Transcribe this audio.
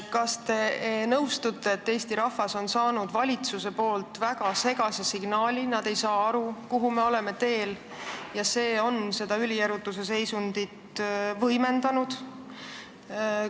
Kas te nõustute, et Eesti rahvas on saanud valitsuselt väga segase signaali, nad ei saa aru, kuhu me oleme teel, ja see on seda ülierutuse seisundit võimendanud?